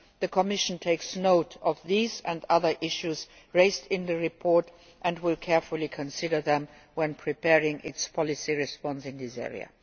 The Commission takes note of these and other issues raised in the report and will carefully consider them when preparing its policy response in this area.